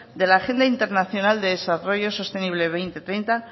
de la agenda internacional de desarrollo sostenible dos mil treinta